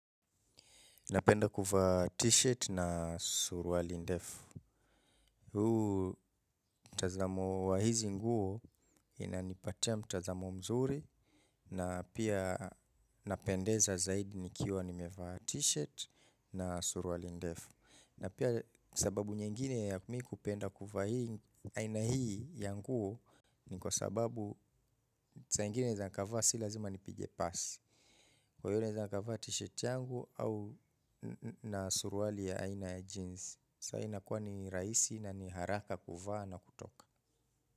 Napenda kuvaa t-shirt na suruali ndefu. Huu mtazamo wa hizi nguo inipatia mtazamo mzuri na pia napendeza zaidi nikiwa nimevalia t-shirt na surali ndefu. Na pia sababu nyingine ya kumi kupenda kuvaa aina hii ya nguo ni kwa sababu saingine za nkavaa sila zima nipige pass. Kwa yule za naka vati shit yangu au na surwali ya aina ya jeans. Sa inakuwa ni raisi na ni haraka kuvaa na kutoka.